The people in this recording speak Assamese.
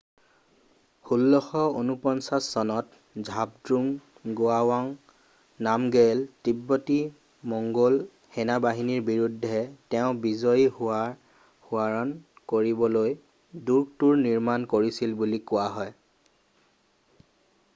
1649 চনত ঝাবদ্ৰুঙ গোৱাৱাঙ নামগেয়েলে তিব্বতী-মঙ্গোল সেনাবাহিনীৰ বিৰূদ্ধে তেওঁৰ বিজয় সোৱৰণ কৰিবলৈ দূৰ্গটোৰ নিৰ্মাণ কৰিছিল বুলি কোৱা হয়